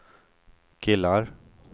killar